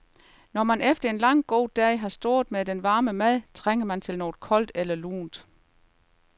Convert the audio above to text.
Når man efter en lang god dag har stået med den varme mad, trænger man til noget koldt eller lunt.